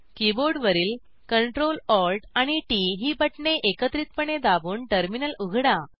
कीबोर्डवरील CtrlAlt आणि TT ही बटणे एकत्रिपणे दाबून टर्मिनल उघडा